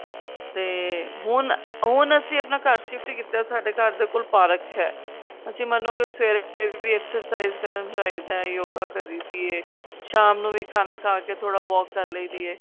ਤੇ ਹੁਣ ਹੁਣ ਅਸੀਂ ਆਪਣਾ ਘਰ shift ਕੀਤਾ ਸਾਡੇ ਘਰ ਦੇ ਕੋਲ park ਹੈ ਅਸੀਂ ਮਨੋ ਗੇ ਸਵੇਰੇ ਵੀ exercise ਕਰਨ ਜਾਈਦਾ yoga ਕਰੀ ਦੀ ਏ ਸ਼ਾਮ ਨੂੰ ਵੀ ਖਾਣਾ ਖਾ ਕੇ ਥੋੜਾ walk ਕਰ ਲਈ ਦੀ ਏ